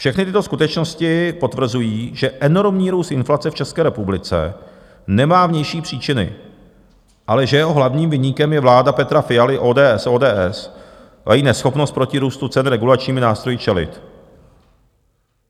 Všechny tyto skutečnosti potvrzují, že enormní růst inflace v České republice nemá vnější příčiny, ale že jeho hlavním viníkem je vláda Petra Fialy z ODS a její neschopnost proti růstu cen regulačními nástroji čelit.